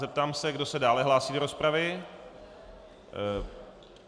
Zeptám se, kdo se dále hlásí do rozpravy.